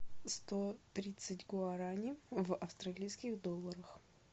сто тридцать гуарани в австралийских долларах